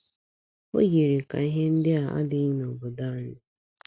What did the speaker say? O yiri ka ihe ndị a adịghị n’obodo anyị.